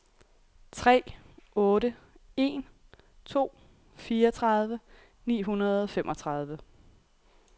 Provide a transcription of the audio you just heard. tre otte en to fireogtredive ni hundrede og femogtredive